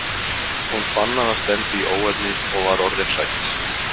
Hún fann að það stefndi í óefni og var orðin hrædd.